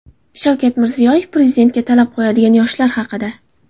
Shavkat Mirziyoyev Prezidentga talab qo‘yadigan yoshlar haqida.